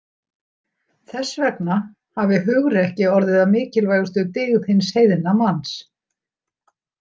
Þess vegna hafi hugrekki orðið að mikilvægustu dyggð hins heiðna manns.